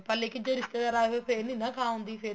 ਤਾਂ ਲੇਕਿਨ ਜੇ ਰਿਸ਼ਤੇਦਾਰ ਆਗੇ ਫੇਰ ਨੀ ਨਾ ਖਾ ਹੁੰਦੀ ਫੇਰ